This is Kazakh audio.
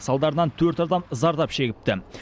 салдарынан төрт адам зардап шегіпті